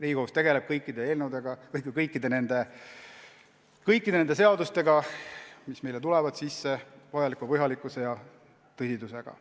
Riigikohus tegeleb kõikide asjadega, mis meile sisse tulevad, vajaliku põhjalikkuse ja tõsidusega.